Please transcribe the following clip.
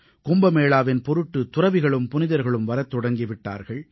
கும்பமேளாவின் பொருட்டு துறவிகளும் புனிதர்களும் வரத் தொடங்கி விட்டார்கள்